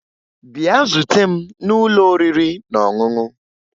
Bịa zute m n'ụlọ oriri na ọṅụṅụ!